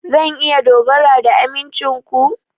Zan iya dogara ga amincin ku?